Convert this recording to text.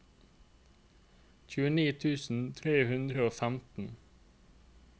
tjueni tusen tre hundre og femten